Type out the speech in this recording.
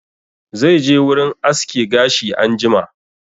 Zai je wurin aske gashi anjima